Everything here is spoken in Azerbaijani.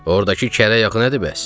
Ordakı kərə yağı nədir bəs?